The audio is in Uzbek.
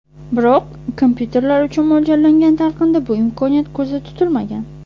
Biroq kompyuterlar uchun mo‘ljallangan talqinda bu imkoniyat ko‘zda tutilmagan.